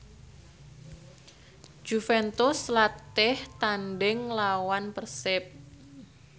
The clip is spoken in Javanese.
Juventus latih tandhing nglawan Persib